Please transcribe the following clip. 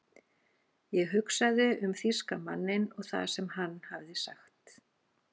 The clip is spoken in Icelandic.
Ég hugsaði um þýska manninn og það sem hann hafði sagt.